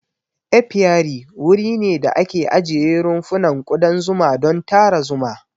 Apiary wuri ne da ake ajiye rumfunan kudan zuma don tara zuma.